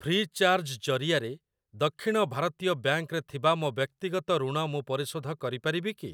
Free charge ଜରିଆରେ ଦକ୍ଷିଣ ଭାରତୀୟ ବ୍ୟାଙ୍କ୍‌ ରେ ଥିବା ମୋ ବ୍ୟକ୍ତିଗତ ଋଣ ମୁଁ ପରିଶୋଧ କରିପାରିବି କି ?